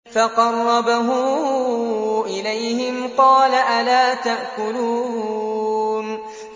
فَقَرَّبَهُ إِلَيْهِمْ قَالَ أَلَا تَأْكُلُونَ